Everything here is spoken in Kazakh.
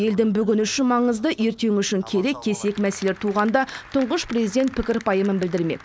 елдің бүгіні үшін маңызды ертеңі үшін керек кесек мәселелер туғанда тұңғыш президент пікір пайымын білдірмек